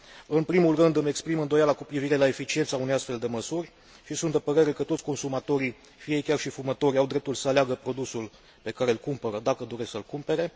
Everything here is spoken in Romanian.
În primul rând, îmi exprim îndoiala cu privire la eficiența unei astfel de măsuri și sunt de părere că toți consumatorii, fie ei chiar și fumători, au dreptul să aleagă produsul pe care îl cumpără, dacă doresc să îl cumpere.